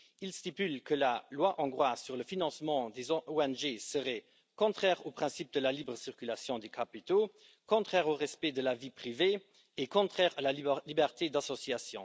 Il stipule que la loi hongroise sur le financement des ONG serait contraire au principe de la libre circulation des capitaux, contraire au respect de la vie privée et contraire à la liberté d'association.